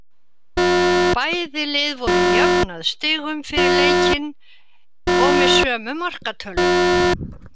Bæði lið voru jöfn að stigum fyrir leikinn og með sömu markatölu.